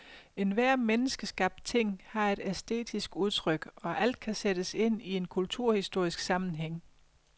Enhver menneskeskabt ting har et æstetisk udtryk og alt kan sættes ind i en kulturhistorisk sammenhæng.